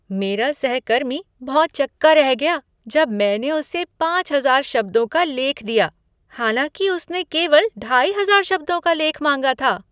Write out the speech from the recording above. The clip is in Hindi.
मेरा सहकर्मी भौंचक्का रह गया जब मैंने उसे पाँच हजार शब्दों का लेख दिया, हालांकि उसने केवल ढाई हजार शब्दों का लेख मांगा था।